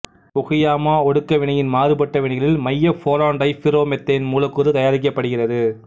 Fukuyama ஒடுக்க வினையின் மாறுபட்ட வினைகளில் மைய போரான்டைபிர்ரோமெத்தேன் மூலக்கூறு தயாரிக்கப்படுகிறது